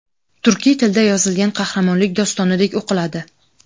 turkiy tilda yozilgan qahramonlik dostonidek o‘qiladi.